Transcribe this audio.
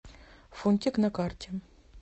фунтик на карте